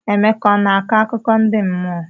Emeka ọ na-akọ akụkọ ndị mmụọ?